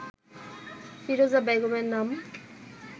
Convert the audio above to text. ফিরোজা বেগমের নাম